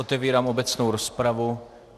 Otevírám obecnou rozpravu.